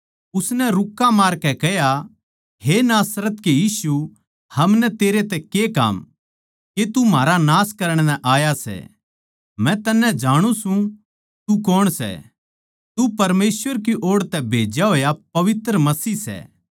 उसनै रुक्का मारकै कह्या हे नासरत के यीशु हमनै तेरै तै के काम के तू म्हारा नाश करण नै आया सै मै तन्नै जांणु सूं तू कौण सै तू परमेसवर की ओड़ तै भेज्या होया पवित्र मसीह सै